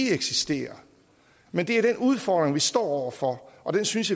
eksisterer men det er den udfordring vi står over for og den synes